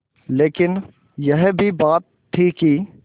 लेकिन यह भी बात थी कि